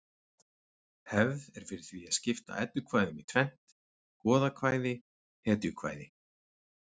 Hefð er fyrir því að skipta eddukvæðum í tvennt: goðakvæði hetjukvæði